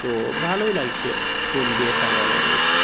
তো ভালো লাগছে ফুল দিয়ে সাজানো রয়েছে।